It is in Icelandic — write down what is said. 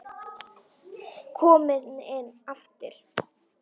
Kominn aftur?